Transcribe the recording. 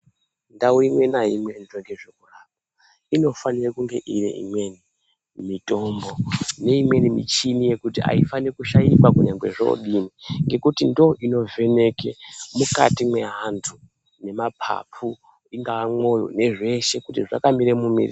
Ndau imwe neimwe inoita nezvekurapa inofanira kunge ine imweni mitombo neimweni michini yekuti haifani kushaikwa nyangwe zvodini ngekuti ndo inovheneke mukati meantu nemapapu ,ingawamoyo nezveshe kuti zvakamire mumi...